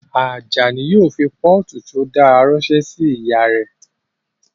Ajani yóò fi pọ́ọ̀tù tí ó dára ránṣẹ́ sí ìyá rẹ̀